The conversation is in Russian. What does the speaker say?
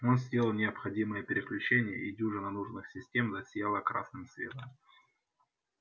он сделал необходимые переключения и дюжина нужных систем засияла красным светом